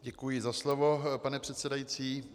Děkuji za slovo, pane předsedající.